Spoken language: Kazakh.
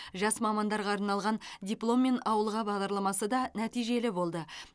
жас мамандарға арналған дипломмен ауылға бағдарламасы да нәтижелі болды